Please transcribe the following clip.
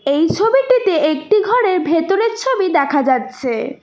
এই ছবিটিতে একটি ঘরের ভেতরের ছবি দেখা যাচ্ছে।